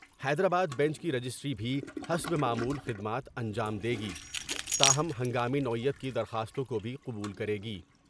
حیدرآ با بنچ کی رجسٹری بھی حسب معمول خدمات انجام دے گی تاہم ہنگامی نوعیت کی درخواستوں کو بھی قبول کرے گی ۔